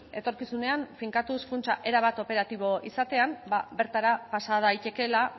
etorkizunean finkatuz funtsa erabat operatibo izatean bertara pasa daitekeela